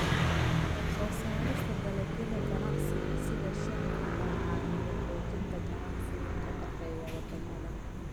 Soo saarista dalagyada ganacsiga sida shaaha ayaa caawiya xoojinta ganacsiga ka dhexeeya wadamada.